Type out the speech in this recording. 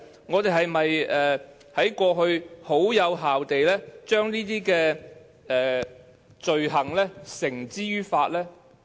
我們在過去是否有效地把這些罪犯繩之於法？